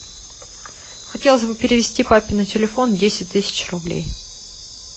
хотелось бы перевести папе на телефон десять тысяч рублей